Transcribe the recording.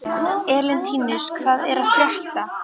Elentínus, hvað er að frétta?